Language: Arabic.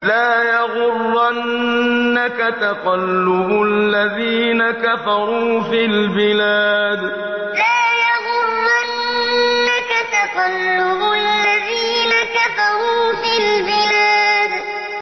لَا يَغُرَّنَّكَ تَقَلُّبُ الَّذِينَ كَفَرُوا فِي الْبِلَادِ لَا يَغُرَّنَّكَ تَقَلُّبُ الَّذِينَ كَفَرُوا فِي الْبِلَادِ